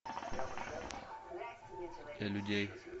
для людей